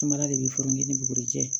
Samara de bɛ furancɛ ni bugurijɛ